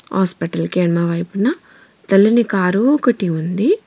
హాస్పిటల్కి ఎడమ వైపున తెల్లని కారు ఒకటి ఉంది.